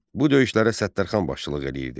Bu döyüşlərə Səttərxan başçılıq edirdi.